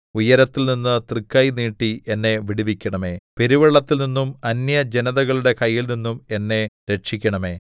ഉയരത്തിൽനിന്ന് തൃക്കൈ നീട്ടി എന്നെ വിടുവിക്കണമേ പെരുവെള്ളത്തിൽനിന്നും അന്യജനതകളുടെ കൈയിൽനിന്നും എന്നെ രക്ഷിക്കണമേ